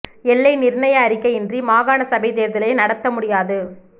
எல்லை நிர்ணய அறிக்கை இன்றி மாகாண சபைத் தேர்தலை நடாத்த முடியாது